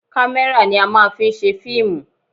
Kámẹ́rà ni a máa ń fi ń ṣe fíìmù